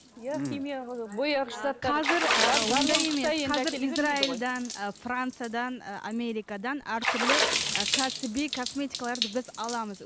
иә қазір израильдан ы франциядан ы америкадан әртүрлі ы кәсіби косметикаларды біз аламыз